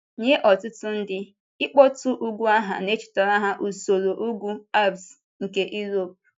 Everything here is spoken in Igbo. Nye ọtụtụ ndị, ịkpọtụ ugwu aha na-echetara ha usoro ugwu Álps nke Europe.